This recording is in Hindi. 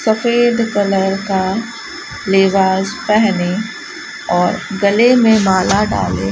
सफेद कलर का लिबास पहने और गले में माला डालें --